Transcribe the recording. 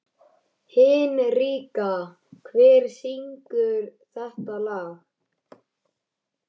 Hinrikka, hver syngur þetta lag?